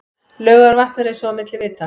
Laugarvatn eins og milli vita.